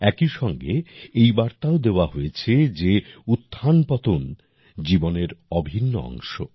একইসঙ্গে এই বার্তাও দেওয়া হয়েছে যে উত্থানপতন জীবনের অভিন্ন অংশ